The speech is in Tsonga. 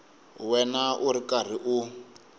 wena u ri karhi u